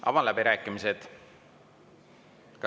Avan läbirääkimised.